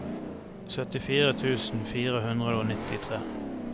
syttifire tusen fire hundre og nittitre